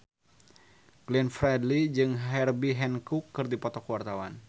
Glenn Fredly jeung Herbie Hancock keur dipoto ku wartawan